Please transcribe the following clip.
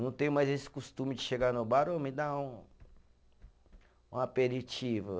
Não tenho mais esse costume de chegar no bar, ô me dá um, um aperitivo.